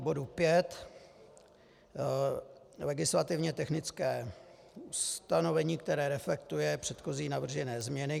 K bodu 5 - legislativně technické ustanovení, které reflektuje předchozí navržené změny.